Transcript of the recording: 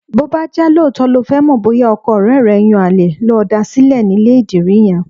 Bó bá jẹ́ lóòótọ́ lo fẹ́ mọ̀ bóyá ọkọ ọ̀rẹ́ rẹ̀ ń yan àlè, lọ da sílẹ̀ nílé ìdìrí yẹn.